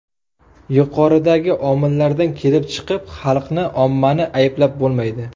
Yuqoridagi omillardan kelib chiqib, xalqni, ommani ayblab bo‘lmaydi.